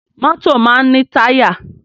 Mọ́tọ̀ máa ń ní táyà.